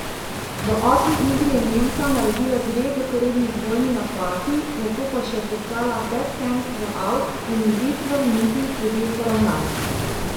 V osmi igri je Nemka naredila dve zaporedni dvojni napaki, nato pa je še poslala bekhend v avt in izid v nizih je bil poravnan.